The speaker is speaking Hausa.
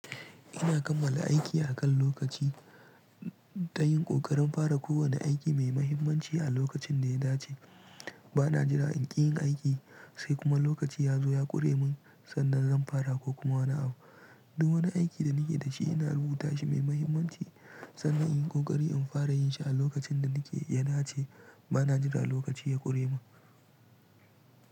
Ina kammala aiki akan lokaci, ta yin ƙoƙarin fara kowane aiki mai mahimmanci a lokacin da ya dace. Bana jira in ƙi yin aiki, sai kuma lokaci ya zo ya ƙure min, sannan zan fara ko kuma wani abu. Du wani aiki da nake da shi ina rubuta shi mai mahimmanci, sannan in yi ƙoƙari in fara yin shi a lokacin da nake ya dace. Bana jira lokaci ya ƙure min.